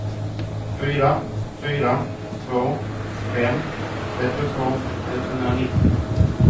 fyra fyra två fem trettiotvå etthundranittio